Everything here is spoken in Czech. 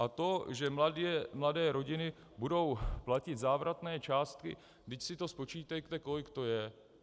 A to, že mladé rodiny budou platit závratné částky, vždyť si to spočítejte, kolik to je.